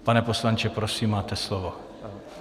Pane poslanče, prosím, máte slovo.